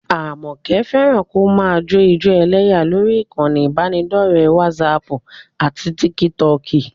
Àmọ̀kẹ́ fẹ́ràn kó máa jó ijó ẹlẹ́yà lórí ìkànnì ìbánidọ́ọ̀rẹ́ wásaaàpù àti tíkítọọ̀kì